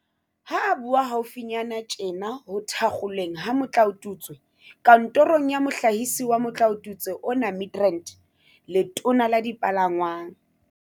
Ha a bua haufinyana tjena ho thakgolweng ha motlaotutswe kantorong ya Mohlahisi wa motlaotutswe ona Midrand, Letona la Dipalangwang